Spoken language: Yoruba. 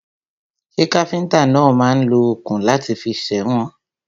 Ṣẹ́ káfíntà náà máà ń lo òkun láti fi sèwọ̀n?